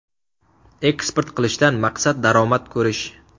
Eksport qilishdan maqsad daromad ko‘rish.